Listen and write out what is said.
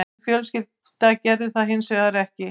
Mín fjölskylda gerði það hins vegar ekki